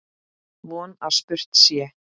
Von að spurt sé.